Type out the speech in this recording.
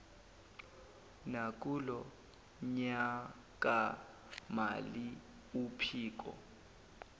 nakulo nyakamali uphiko